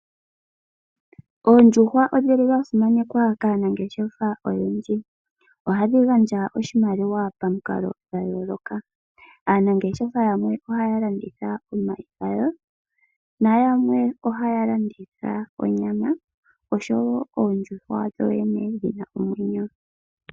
Oondjuhwa odhi li dha simanekwa kaanangeshefa oyendji, ohadhi gandja oshimaliwa pamikalo dha yooloka. Aanangeshefa yamwe ohaya landitha omayi gadho, na yamwe ohaya landitha onyama oshowo oondjuhwa dhoyene dhina omwenyo.